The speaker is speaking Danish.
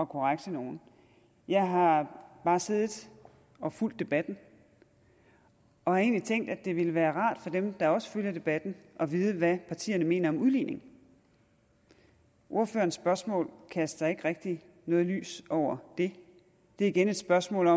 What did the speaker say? korrekse nogen jeg har bare siddet og fulgt debatten og har egentlig tænkt at det ville være rart for dem der også følger debatten at vide hvad partierne mener om udligning ordførerens spørgsmål kaster ikke rigtig noget lys over det det er igen spørgsmålet